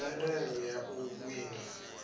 na mvelelo ya u wina